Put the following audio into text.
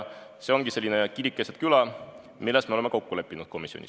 See ongi selline kirik-keset-küla-lahendus, milles me komisjonis kokku leppisime.